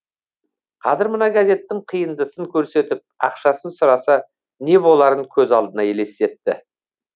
қазір мына газеттің қиындысын көрсетіп ақшасын сұраса не боларын көз алдына елестетті